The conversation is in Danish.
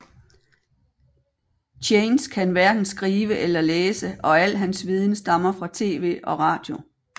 Chance kan hverken skrive eller læse og alt hans viden stammer fra TV og Radio